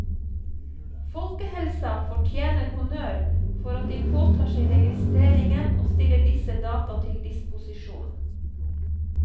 Folkehelsa fortjener honnør for at de påtar seg registreringen og stiller disse data til disposisjon.